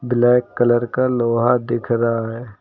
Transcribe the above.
Black colour का लोहा दिख रहा है।